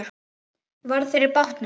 Varð fyrir bátnum.